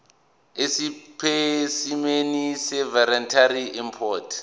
esipesimeni seveterinary import